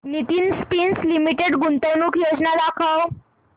Nitin spinners limited गुंतवणूक योजना दाखव